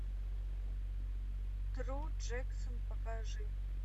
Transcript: тру джексон покажи